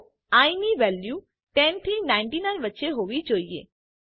તો આઇ ની વેલ્યુ 10 થી 99 વચ્ચે હોવી જોઈએ